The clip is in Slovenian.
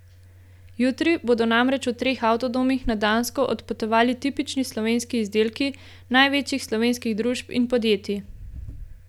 Jutri bodo namreč v treh avtodomih na Dansko odpotovali tipični slovenski izdelki največjih slovenskih družb in podjetij.